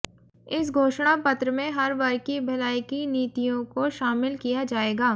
इस घोषणापत्र में हर वर्ग की भलाई की नीतियों को शामिल किया जाएगा